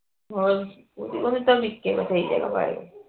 ਬਸ ਉਹ ਤੋਂ ਵੀ ਨਿਕੇ